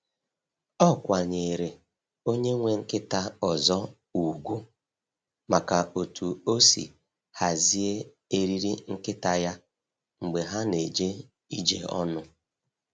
Ọ kwanyeere onye nwe nkịta ọzọ ugwu maka otú o si hazie eriri nkịta ya mgbe ha na-eje ije ọnụ.